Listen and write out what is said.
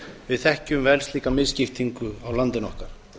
við þekkjum vel slíka misskiptingu á landinu okkar